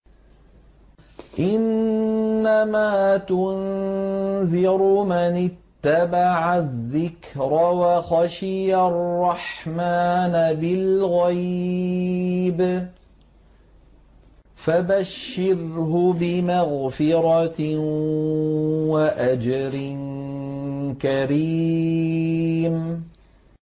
إِنَّمَا تُنذِرُ مَنِ اتَّبَعَ الذِّكْرَ وَخَشِيَ الرَّحْمَٰنَ بِالْغَيْبِ ۖ فَبَشِّرْهُ بِمَغْفِرَةٍ وَأَجْرٍ كَرِيمٍ